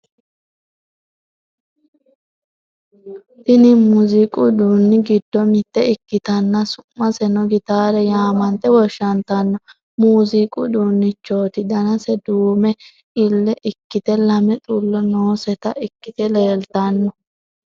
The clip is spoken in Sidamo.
Tini muuziiqu uduunni giddo mitte ikkitanna su'maseno gitaare yaamante woshshantanno muuziiqu uduunnichooti danase duume liilla ikkite lame xullo nooseta ikkite leeltanno.